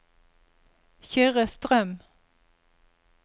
Kyrre Strøm